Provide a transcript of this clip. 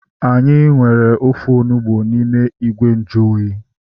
Anyị nwere ofe onugbu n'ime ìgwè nju oyi